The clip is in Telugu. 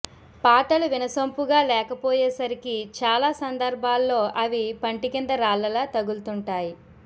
పాటలు వినసొంపుగా లేకపోయేసరికి చాలా సందర్భాల్లో అవి పంటి కింద రాళ్లలా తగుల్తుంటాయి